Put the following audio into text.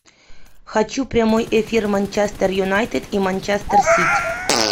хочу прямой эфир манчестер юнайтед и манчестер сити